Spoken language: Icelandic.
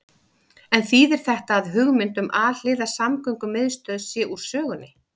En þýðir þetta að hugmynd um alhliða samgöngumiðstöð sé úr sögunni?